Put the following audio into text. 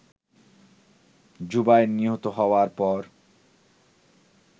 জুবায়ের নিহত হওয়ার পর